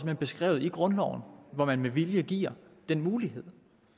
hen beskrevet i grundloven hvor man med vilje giver den mulighed